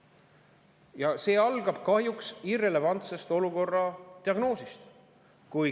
Ja see algab kahjuks irrelevantsest olukorra diagnoosist.